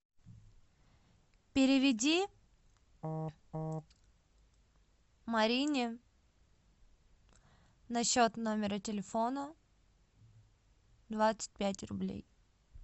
переведи марине на счет номера телефона двадцать пять рублей